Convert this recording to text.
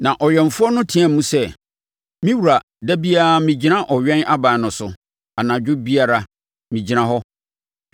Na ɔwɛmfoɔ no teaam sɛ, “Me wura da biara megyina ɔwɛn aban no so anadwo biara, megyina hɔ.